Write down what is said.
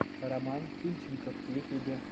роман фильченков в ютьюбе